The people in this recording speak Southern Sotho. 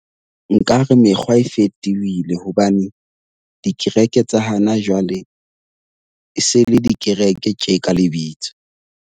Nkare mekgwa e fetohile hobane dikereke tsa hana jwale e se le dikereke tje ka lebitso.